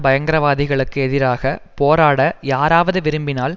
பயங்கரவாதிகளுக்கு எதிராக போராட யாராவது விரும்பினால்